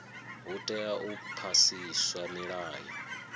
hu tea u phasiswa milayo